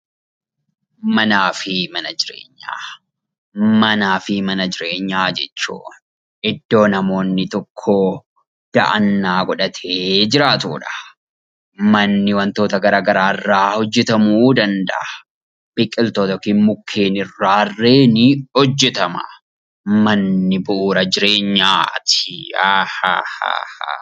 Manaa fi mana jireenyaa jechuun iddoo namoonni tokko da'annaa godhatee jiraatudha. Manni wantoota garaa garaarraa hojjetamuu danda'a. Biqiltoota yookiin mukkeen irraarree ni hojjetama. Manni bu'uura jireenyaati.